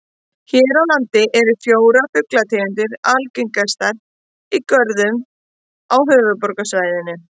Hér á landi eru fjórar fuglategundir algengastar í görðum á höfuðborgarsvæðinu.